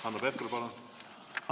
Hanno Pevkur, palun!